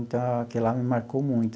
Então, aquilo lá me marcou muito.